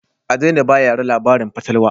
A daina ba yara labarin fatalwa